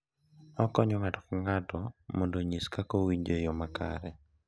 Okonyo ng’ato ka ng’ato mondo onyis kaka owinjo e yoo makare,